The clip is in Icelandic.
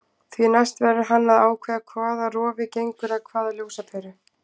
Því næst verður hann að ákveða hvaða rofi gengur að hvaða ljósaperu.